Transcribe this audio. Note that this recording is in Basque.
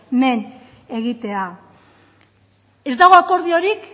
men egitea ez dago akordiorik